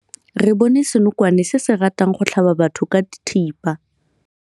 Re bone senokwane se se ratang go tlhaba batho ka thipa.